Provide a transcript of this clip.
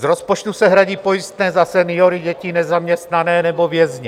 Z rozpočtu se hradí pojistné za seniory, děti, nezaměstnané nebo vězně.